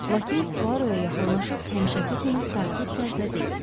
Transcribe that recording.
Lakey Puaro'ya yaxınlaşıb həmişəki kimi sakit tərzdə dedi: